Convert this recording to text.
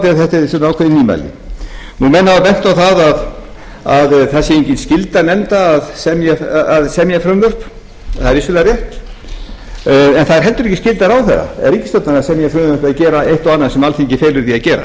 á þetta þetta eru ákveðin nýmæli menn hafa bent á að það sé engin skylda nefnda að semja frumvörp það er vissulega rétt en það er heldur ekki skylda ráðherra eða ríkisstjórnar að semja frumvörp eða gera eitt og annað sem alþingi felur því að gera ef